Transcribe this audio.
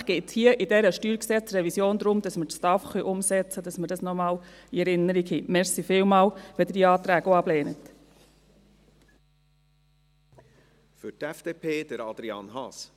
Schlussendlich geht es hier in dieser StGRevision darum, dass wir die Steuerreform und die AHV-Finanzierung (STAF) umsetzen können – dies noch einmal, damit wir dies in Erinnerung haben.